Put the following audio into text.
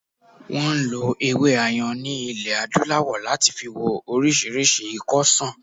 Wọn ń lo ewé Ayan ni ilẹ̀ adúláwò láti fi wo orísìírísìí ikọ́ ṣàn